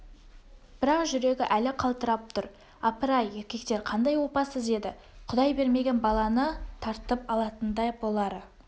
бірақ жүрегі әлі қалтырап тұр апыр-ай еркектер қандай опасыз еді құдай бермеген баланы тартып алатындай бұлары